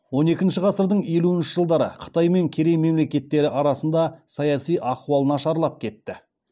он екінші ғасырдың елуінші жылдары қытай мен керей мемлекеттері арасында саяси ахуал нашарлап кетті